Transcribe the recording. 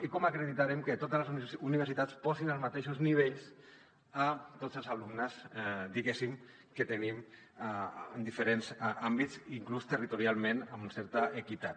i com acreditarem que totes les universitats posin els mateixos nivells a tots els alumnes diguéssim que tenim en diferents àmbits inclús territorialment amb certa equitat